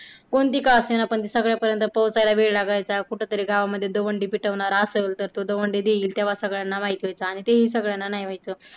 कोणती का असेना पण ती सगळ्या पर्यंत पोहोचायला वेळ लागायचा कुठेतरी गावामध्ये दवंडी पिटवणारा असल तर तो दवंडी देईल तेव्हा सगळ्यांना माहिती व्हायचं आणि तेही सगळ्यांना नाही व्हायचं.